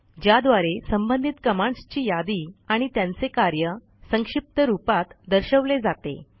ज्याद्वारे संबंधित कमांडस् ची यादी आणि त्यांचे कार्य संक्षिप्त रूपात दर्शवले जाते